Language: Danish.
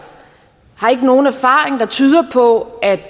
har ikke nogen erfaring der tyder på